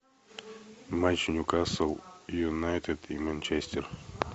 матч ньюкасл юнайтед и манчестер